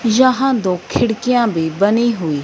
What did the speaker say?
यहां दो खिड़कियां भी बनी हुई --